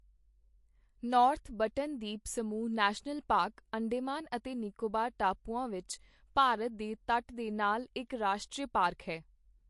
North Button ਦੀਪ ਸਮੂਹ national park Andaman ਅਤੇ ਨਿਕੋਬਾਰ ਟਾਪੂਆਂ ਵਿੱਚ ਭਾਰਤ ਦੇ ਤਟ ਦੇ ਨਾਲ ਇੱਕ ਰਾਸ਼ਟਰੀ ਪਾਰਕ ਹੈ।